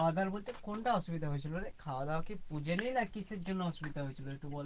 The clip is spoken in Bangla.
খাওয়া দাওয়া বলতে কোনটা অসুবিধা হয়েছিল রে? খাওয়া দাওয়া কি না কিসের জন্য অসুবিধা হয়েছিল? একটু বল